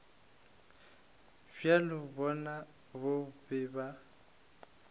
bjabo bjona bo be bo